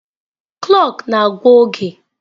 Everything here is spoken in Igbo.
Kloọk na-agwa oge.